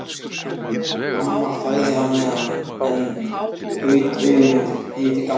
Amma þagði á meðan en gaut augunum yfir til Gamla.